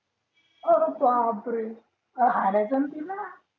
अरे बाप रे आर हाणाचे तिला